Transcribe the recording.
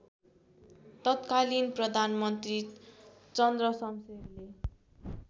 तत्कालीन प्रधानमन्त्री चन्द्रशमशेरले